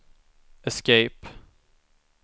escape